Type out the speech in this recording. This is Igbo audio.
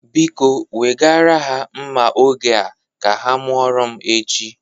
Biko, wegara ha nma oge a ka ha mụoro m echi.